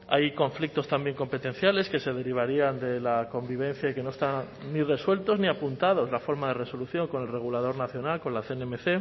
hay conflictos competenciales que se derivarían de la convivencia y que no están ni resueltos ni apuntados la forma de resolución con el regulador nacional con la cnmc